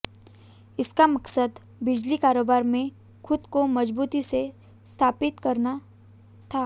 इसका मकसद बिजली कारोबार में खुद को मजबूती से स्थापित करना था